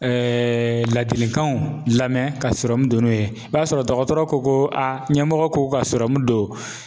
ladilikanw lamɛn ka sɔrɔ don n'o ye, i b'a sɔrɔ dɔgɔtɔrɔ ko a ɲɛmɔgɔ k'o ka don